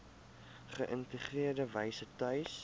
geïntegreerde wyse tuis